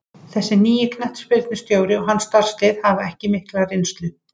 Þessi nýi knattspyrnustjóri og hans starfslið hafa ekki mikla reynslu.